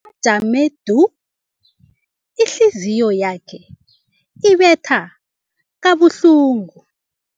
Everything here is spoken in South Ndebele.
jame du, ihliziyo yakhe ibetha kabuhlungu.